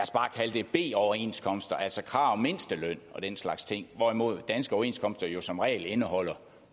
det b overenskomster altså krav om mindsteløn og den slags ting hvorimod danske overenskomster jo som regel indeholder